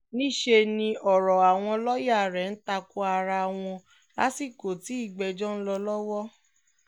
níṣẹ́ ni ọ̀rọ̀ àwọn lọ́ọ̀yà rẹ̀ ń ta ko ara wọn lásìkò tí ìgbẹ́jọ́ ń lọ lọ́wọ́